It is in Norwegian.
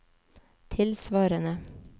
tilsvarende